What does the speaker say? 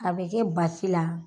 A be kɛ basi la